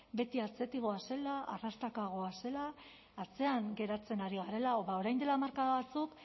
beti atzetik goazela arrastaka goazela atzean geratzen ari garela ba orain dela hamarkada batzuk